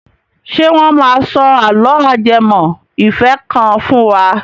Ṣé wọ́n máa sọ àlọ́ ajẹmọ ìfẹ́ kan fún wa?